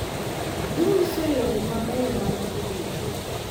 Ginyiso yore mabeyo mag tudruok